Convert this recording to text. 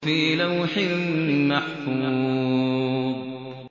فِي لَوْحٍ مَّحْفُوظٍ